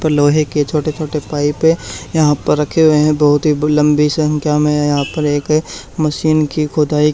दो लोहे के छोटे छोटे पाइपे यहां पर रखे हुए हैं बहुत ही लंबी संख्या में यहां पर एक मशीन की खोदाई--